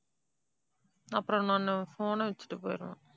அப்புறம் நானு phone ஆ வச்சிட்டு போயிடுவேன்